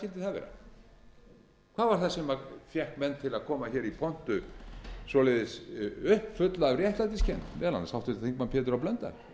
það vera að var það sem fékk menn til að koma hér í pontu svoleiðis uppfulla af réttlætiskennd meðal annars háttvirtur þingmaður pétur h blöndal